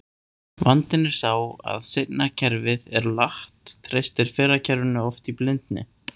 Vandinn er sá að seinna kerfið er latt, treystir fyrra kerfinu oft í blindni.